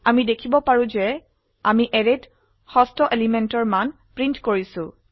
আমি দেখিব পাৰো যে আমি অ্যাৰেত ষষ্ঠ এলিমেন্টেৰ মান প্ৰিন্ট কৰিছো